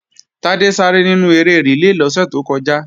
Tádé sáré nínú eré rìlé lọ́sẹ̀ tó kọjá